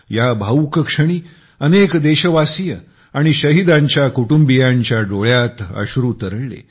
या भावूक क्षणी अनेक देशवासीय आणि शहीदांच्या कुटुंबियांच्या डोळ्यात अश्रू तरळले